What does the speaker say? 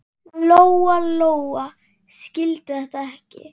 Lóa-Lóa skildi þetta ekki.